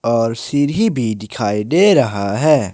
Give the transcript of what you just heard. और सीडी भी डिखाई डे रहा है।